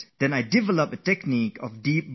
So here is a technique I have developed for myself